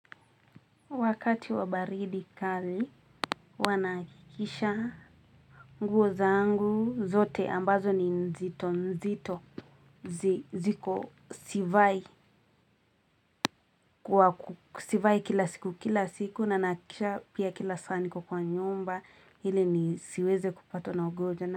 Wakati wa baridi kali huwa nahakikisha nguo zangu zote ambazo ni nzito nzito ziko sivai, kwa sivai kila siku kila siku na nahakikisha pia kila saa niko kwa nyumba ili nisiweze kupatwa na ugonjwa na.